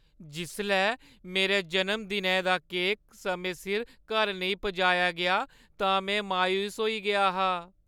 जिसलै मेरे जनम-दिनै दा केक समें सिर घर नेईं पजाया गेआ तां मैं मायूस होई गेआ हा।